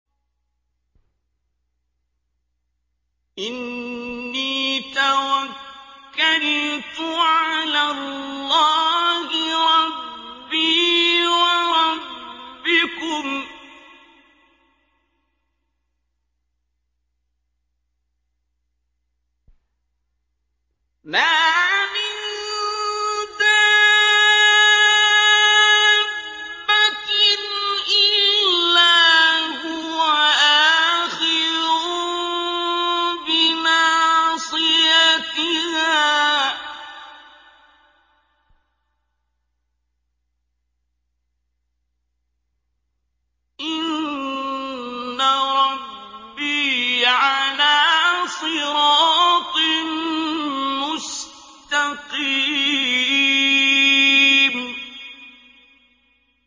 إِنِّي تَوَكَّلْتُ عَلَى اللَّهِ رَبِّي وَرَبِّكُم ۚ مَّا مِن دَابَّةٍ إِلَّا هُوَ آخِذٌ بِنَاصِيَتِهَا ۚ إِنَّ رَبِّي عَلَىٰ صِرَاطٍ مُّسْتَقِيمٍ